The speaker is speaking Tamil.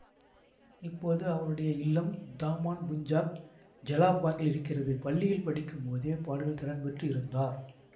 இப்போது அவருடைய இல்லம் தாமான் புஞ்சாக் ஜெலாப்பாங்கில் இருக்கிறது பள்ளியில் படிக்கும் போதே பாடுவதில் திறன் பெற்று இருந்தார்